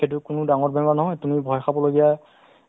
অ, so সেইটো সংস্থাৰ এটা ক'ভিড nineteen ৰ